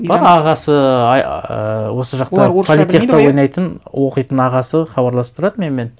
бар ағасы ііі осы жақта политехте ойнайтын оқитын ағасы хабарласып тұрады менімен